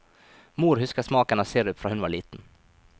Mor husker smaken av sirup fra hun var liten.